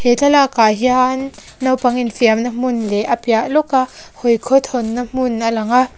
he thlalakah hian naupang infiamna hmuh leh a piah lawka hawi khawthawnna hmun a lang a.